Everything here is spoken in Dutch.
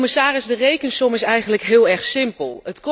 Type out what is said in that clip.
Commissaris, de rekensom is eigenlijk heel erg simpel.